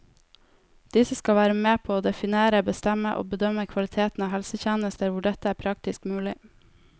Disse skal være med på å definere, bestemme og bedømme kvaliteten av helsetjenester hvor dette er praktisk mulig.